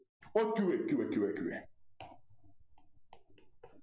or q a q a q a q a q a